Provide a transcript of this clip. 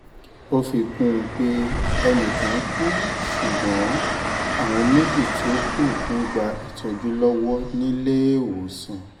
ó fi kún un pé ẹnì kan kú ṣùgbọ́n àwọn méjì tó kù ń gba ìtọ́jú lọ́wọ́ níléèwọ̀sàn